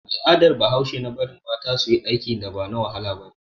Al'adar bahaushe na bari mata suyi aikin da ba na wahala bane